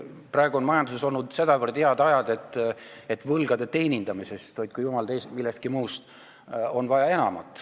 Praegu on majanduses olnud nii head ajad, et võlgade teenindamisest – hoidku jumal teid millestki muust – on vaja enamat.